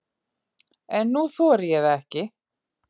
En nú þorði ég það ekki.